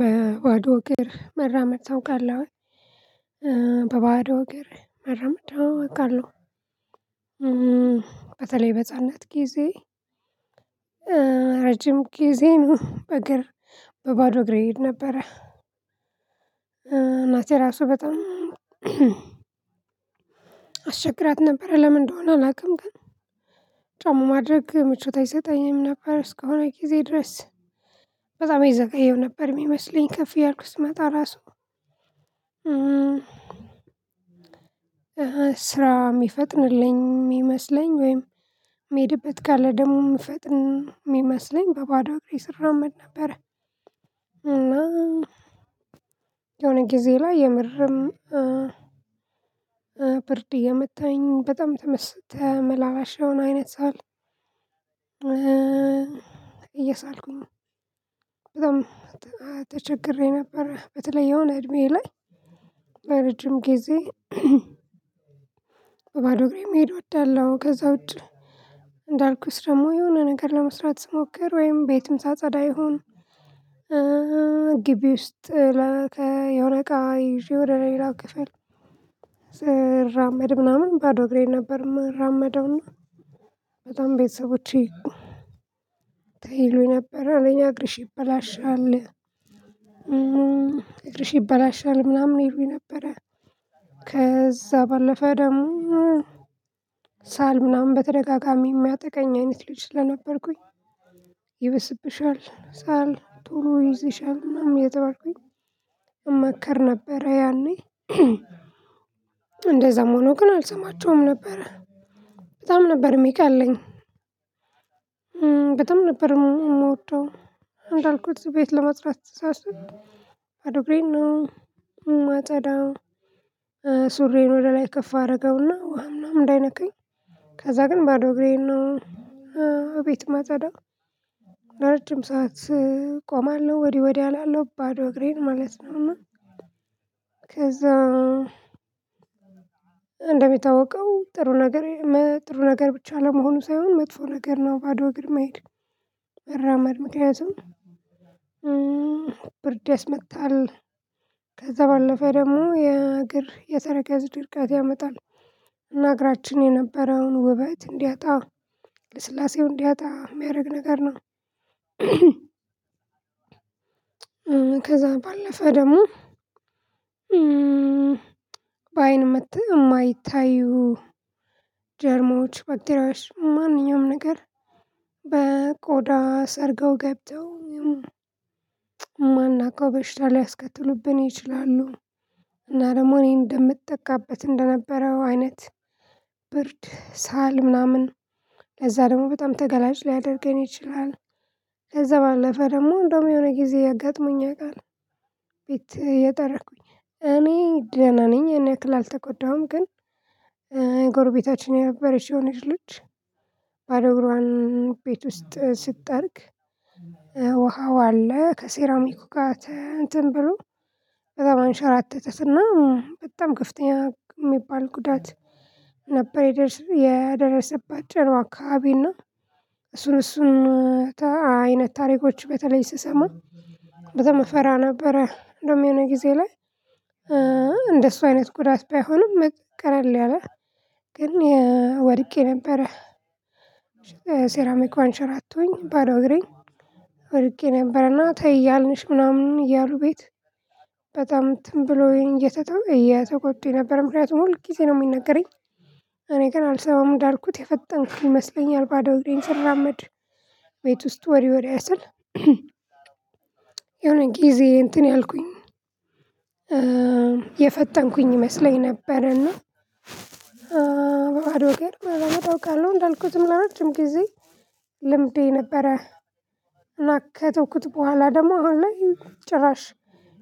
በባዶ እግር መራመድ ታውቃለህ? በባዶ እግር መራመድ አዎ አውቃለሁ። በተለይ በእጽንነት ጊዜ ረጅም ጊዜ ነው በእግር በባዶ እግሬ እሄድ ነበረ፤ እናቴ ራሱ በጣም አስቸግራት ነበር ለምን እንደሆነ አላውቅም፤ ግን ጫማ ማድረግ ምቾት አይሰጠኝም ነበር እስከሆነ ጊዜ ድረስ። በጣም የዘገየው ነበር የሚመስለኝ ከፍ እያልኩ ስመጣ ራሱ። ስራ የሚፈጥንልኝ የሚመስለኝ ወይም የሚሄድበት የሚፈጥን የሚመስለኝ በባዶ እግሬ ስራመመድ ነበረ። እና የሆነ ጊዜ ላይ የምርም ብርድ እየመታኝ በጣም ተመላላሸ የሆነ አይነት ሳል እየሳልኩኝ በጣም ተቸግሬ ነበር፤ በተለይ የሆነ እድሜዬ ላይ ለረጅም ጊዜ በባዶ እግሬ መሄድ እወዳለሁ፤ ከዛ ውጪ እንዳልኩት ደግሞ የሆነ ነገር ለመስራት ስሞክር ወይም ቤትም ሳጸዳ ይሁን፤ ግቢ ውስጥ የሆነ እቃ ይዤ ወደ ሌላው ክፍል ስራመድ ምናምን ባዶ እግሬ ነበር የማራመደው። እና በጣም ቤተሰቦቼ ተይሉኝ ነበር አንደኛ አግርሽ ይበላሻል ይበላሻል ምናምን ይሉኝ ነበረ ከዛ ባለፈ ደግሞ ሳል ምናምን በተደጋጋሚ የሚያጠቃኝ አይነት ልጅ ስለነበርኩኝ፤ ይበስብሻል ሳል ቶሎ ይዘሻል ምናምን እየተባልኩኝ እመከር ነበር ያኔ። እንደዛም ሆኖ ግን አልሰማቸውም ነበር፤ በጣም ነበር የሚቀለኝ። በጣም ነበር የምወደው፤ እንዳልኩት ቤት ለመጽዳት ሳስብ ባዶ እግሬን ነው ማጻዳው። ሱሬን ወደ ላይ ከፍ አድረገውና ውሃ ምናምን እንዳይነካኝ። ከዛ ግን ባዶ እግሬን ነው ቤት የማጸዳው። ለረጅም ሰዓት ቆማለሁ፤ ወዲህ ወዲህ አላለሁ ባዶ እግሬን ማለት ነው። ከዛ እንደሚታወቀው ጥሩ ነገር ጥሩ ነገር ብቻ ለመሆኑ ሳይሆን፤ መጥፎ ነገር ነው ባዶ እግር መሄድ መራመድ ምክንያቱም ብርድ ያስመታል። ከዛ ባለፈ ደግሞ የእግር የተረከዝ ድርቀት ያመጣል። እና እግራችን የነበረውን ውበት እንዲያጣ፤ ልስላሴውን እንዲያጣ የሚያደርግ ነገር ነው። ከዛ ባለፈ ደግሞ በአይን የማይታዩ ጀርሞች፤ ባክቴርያዎች፤ ማንኛውም ነገር በቆዳ ሰርገው ገብተው የማናውቀው በሽታ ሊያስከትሉብን ይችላሉ። እና ደግሞ እኔ እንደምጠቀበት እንደነበረውን አይነት ብርድ፤ ሳል፤ ምናምን ለዛ ደግሞ በጣም ተገላጭ ሊያደርገን ይችላል። ከዛ ባለፈ ደግሞ እንደውም የሆነ ጊዜ አጋጥሞኝ ያውቃል። ቤት እየጠረኩኝ እኔ ደህና ነኝ ያንያክል አልተጎዳሁም ግን ጎርቤታችን የነበረች የሆነች ልጅ ባዶ እግሯን ቤት ውስጥ ስትጠርግ፤ ውሃው አለ ከሴራሚኩ ጋር እንትን ብሎ በጣም አንሸራተታት እና በጣም ከፍተኛ የሚባል ጉዳት ነበር የደረሰባት ጭኗዋ አካባቢ፤ እና እሱን እሱን አይነት ታሪኮች በተለይ ስሰማ፤ በጣም እፈራ ነበረ። እንዲሁም የሆነ ጊዜ ላይ እንደሱ አይነት ጉዳት ባይሆኑም ቀለል ያለ ግን ወድቄ ነበረ። ሴራሚኩ አንሻራቶኝ ባዶ እግሬ ወድቄ ነበረ። እና ተይ እያልንሽ ምናምን እያሉ ቤት በጣም እንትን ብሎኝ እየተተው እየተቆጡኝ ነበረ፤ ምክንያቱም ሁል ጊዜ ነው የሚነገረኝ። እኔ ግን አልሰማም እንዳልኩት የፈጠንኩኝ ይመስለኛል ባዶ እድሜን ስራመድ። ቤት ውስጥ ወዲ ወዳ ስል የሆነ ጊዜ እንትን እያልኩኝ የፈጠንኩኝ ይመስለኝ ነበር እና በባዶ እግር መራመድ አውቃለው፤ እንዳልኩት ለረጅም ጊዜ ልምዴ ነበረ። እና ከተውኩት በኋላ ደግሞ አሁን ላይ ጭራሽ